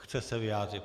Chce se vyjádřit.